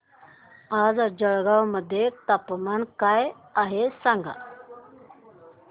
आज जळगाव मध्ये तापमान काय आहे सांगा